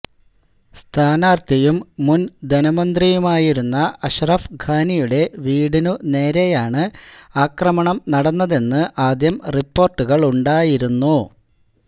സ്ഥാനാര്ത്ഥിയും മുന് ധനമന്ത്രിയുമായിരുന്ന അഷറഫ് ഖാനിയുടെ വീടിനുനേരെയാണ് ആക്രമണം നടന്നതെന്ന് ആദ്യം റിപ്പോര്ട്ടുകളുണ്ടായിരുന്നു